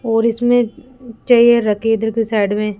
और इसमें चेयर रखी इधर की साइड में।